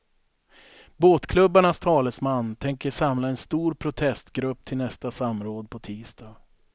Båtklubbarnas talesman tänker samla en stor protestgrupp till nästa samråd på tisdag.